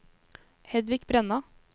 Hedvig Brenna